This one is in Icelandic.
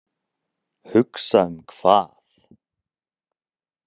Hugsa um hvað?